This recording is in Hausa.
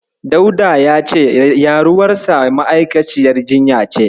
Dauda ya ce, ƴaruwarsa ma'aikaciyar jinya ce.